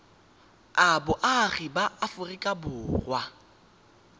a boagi ba aforika borwa